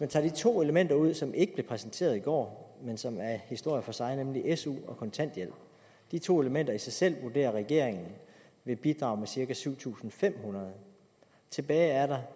tage de to elementer ud som ikke blev præsenteret i går men som er en historie for sig nemlig su og kontanthjælp og de to elementer i sig selv vurderer regeringen vil bidrage med cirka syv tusind fem hundrede tilbage er der